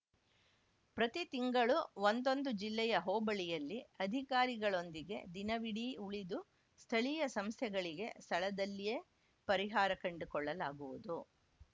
ಪ್ರತಿ ತಿಂಗಳು ಒಂದೊಂದು ಜಿಲ್ಲೆಯ ಹೋಬಳಿಯಲ್ಲಿ ಅಧಿಕಾರಿಗಳೊಂದಿಗೆ ದಿನವಿಡೀ ಉಳಿದು ಸ್ಥಳೀಯ ಸಂಸ್ಯೆಗಳಿಗೆ ಸ್ಥಳದಲ್ಲಿಯೇ ಪರಿಹಾರ ಕಂಡುಕೊಳ್ಳಲಾಗುವುದು